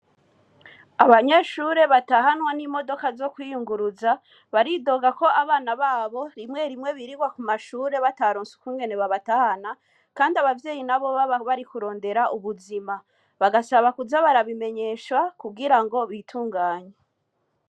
Abanyeshure batahanwa n'imodoka zo kwiyunguruza baridoga ko abana babo rimwe rimwe birirwa ku mashure batarunseukungene babatahana, kandi abavyeyi na bobaba bari kurondera ubuzima bagasaba kuza barabimenyesha kugira ngo bitunganya.